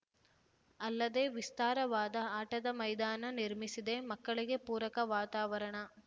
ಅಲ್ಲದೆ ವಿಸ್ತಾರವಾದ ಆಟದ ಮೈದಾನ ನಿರ್ಮಿಸಿದೆ ಮಕ್ಕಳಿಗೆ ಪೂರಕ ವಾತಾವರಣ